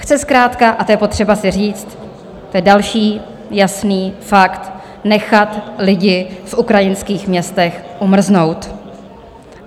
Chce zkrátka, a to je potřeba si říct, to je další jasný fakt, nechat lidi v ukrajinských městech umrznout.